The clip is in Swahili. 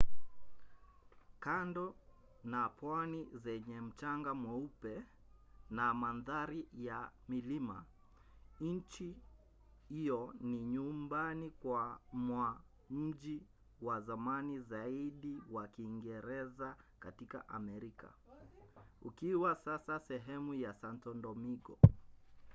kando na pwani zenye mchanga mweupe na mandhari ya milima nchi hiyo ni nyumbani mwa mji wa zamani zaidi wa kiingereza katika amerika ukiwa sasa sehemu ya santo domingo